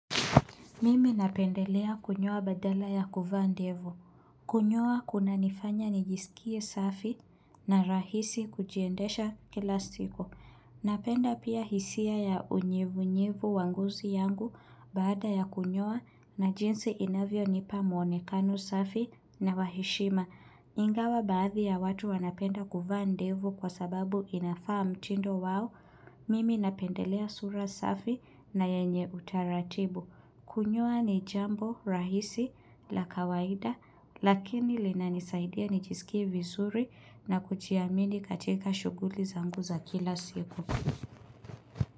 Mimi napendelea kunyoa badala ya kuvaa ndevu. Kunyoa kunanifanya nijisikie safi na rahisi kujiendesha kila siku. Napenda pia hisia ya unyevunyevu wa ngozi yangu baada ya kunyoa na jinsi inavyonipa muonekano safi na wa heshima. Ingawa baadhi ya watu wanapenda kuvaa ndevu kwa sababu inafaa mtindo wao. Mimi napendelea sura safi na yenye utaratibu. Kunyoa ni jambo rahisi la kawaida lakini linanisaidia nijisikie vizuri na kujiamini katika shughuli zangu za kila siku.